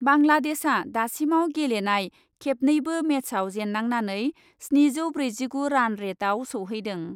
बांलादेशआ दासिमाव गेलेनाय खेबनैबो मेचआव जेन्नांनानै स्निजौ ब्रैजिगु रान रेटआव सौहैदों।